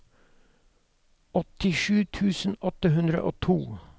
åttisju tusen åtte hundre og to